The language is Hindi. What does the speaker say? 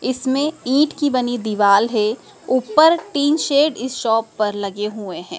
इसमें ईंट की बनी दीवाल है ऊपर टीन शेड इस शॉप पर लगे हुए हैं।